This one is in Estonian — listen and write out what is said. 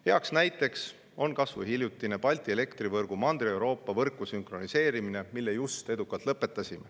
Heaks näiteks on kas või Balti elektrivõrgu sünkroniseerimine Mandri-Euroopa võrku, mille just edukalt lõpetasime.